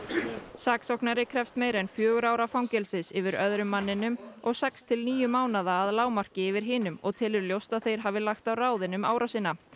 saksóknari krefst meira en fjögurra ára fangelsis yfir öðrum manninum og sex til níu mánaða að lágmarki yfir hinum og telur ljóst að þeir hafi lagt á ráðin um árásina